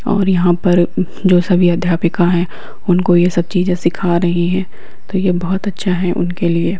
और यहाँ पर जो सभी अध्यापिका है उनको ये सब चीजें सीखा रही है तो ये बहुत अच्छा है उनके लिए।